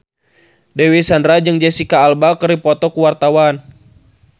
Dewi Sandra jeung Jesicca Alba keur dipoto ku wartawan